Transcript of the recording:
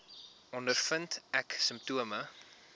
ondervind ek simptome